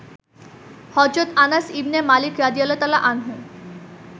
হজরত Anas ibn Malik রা.